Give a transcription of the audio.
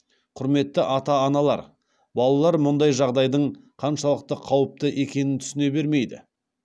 құрметті ата аналар балалар мұндай жағдайдың қаншалықты қауіпті екенін түсіне бермейді